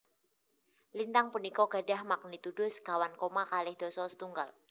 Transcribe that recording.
Lintang punika gadhah magnitudo sekawan koma kalih dasa setunggal